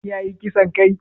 Shin shi yayi ƙisan kai?